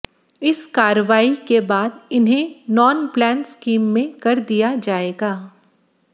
इस कार्रवाई के बाद इन्हें नान प्लान स्कीम में कर दिया जाएगा